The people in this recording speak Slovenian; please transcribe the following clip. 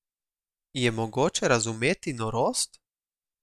Je mogoče razumeti norost?